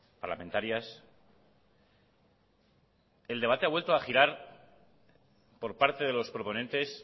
parlamentarias el debate ha vuelto a girar por parte de los proponentes